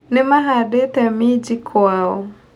Nĩa mahandĩte minji kwao.